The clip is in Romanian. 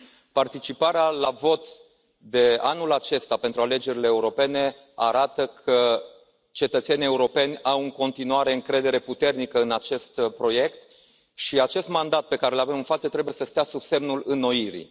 Participarea la vot de anul acesta pentru alegerile europene arată că cetățenii europeni au în continuare încredere puternică în acest proiect, iar acest mandat pe care îl avem în față trebuie să stea sub semnul înnoirii.